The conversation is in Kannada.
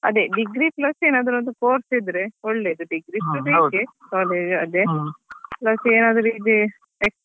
ಅದೇ degree plus ಏನಾದ್ರು ಒಂದು course ಇದ್ರೆ ಒಳ್ಳೇದು degree ಬೇಕೇ plus ಏನಾದ್ರು ಇದ್ರೆ.